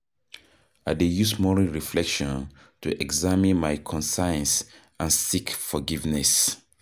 I dey use morning reflection to examine my conscience and seek forgiveness.